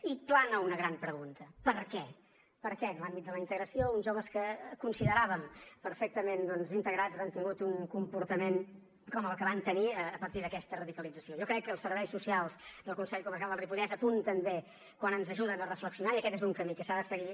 i plana una gran pregunta per què per què en l’àmbit de la integració uns joves que consideràvem perfectament doncs integrats han tingut un comportament com el que van tenir a partir d’aquesta radicalització jo crec que els serveis socials del consell comarcal del ripollès apunten bé quan ens ajuden a reflexionar i aquest és un camí que s’ha de seguir